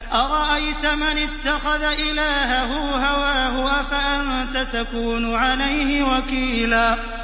أَرَأَيْتَ مَنِ اتَّخَذَ إِلَٰهَهُ هَوَاهُ أَفَأَنتَ تَكُونُ عَلَيْهِ وَكِيلًا